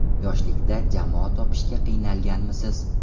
Yoshlikda jamoa topishga qiynalganmisiz?